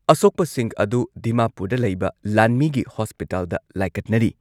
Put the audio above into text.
ꯑꯁꯣꯛꯄꯁꯤꯡ ꯑꯗꯨ ꯗꯤꯃꯥꯄꯨꯔꯗ ꯂꯩꯕ ꯂꯥꯟꯃꯤꯒꯤ ꯍꯣꯁꯄꯤꯇꯥꯜꯗ ꯂꯥꯏꯀꯠꯅꯔꯤ꯫